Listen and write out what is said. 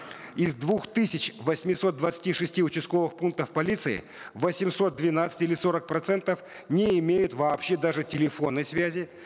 из двух тысяч восьмисот двадцати шести участковых пунктов полиции восемьсот двенадцать или сорок процентов не имеют вообще даже телефонной связи